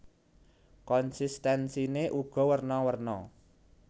Konsistensiné uga werna werna